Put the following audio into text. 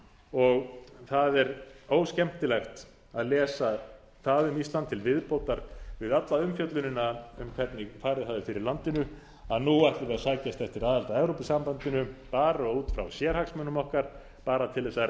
og það er óskemmtilegt að lesa það um ísland til viðbótar við alla umfjöllunina um hvernig farið hafi fyrir landinu að nú ætlum við að sækjast eftir aðild að evrópusambandinu bara út frá sérhagsmunum okkar bara til þess